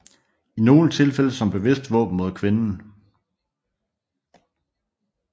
I nogle tilfælde som bevidst våben mod kvinden